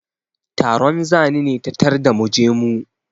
Taron zani ne ta tarda mu je mu.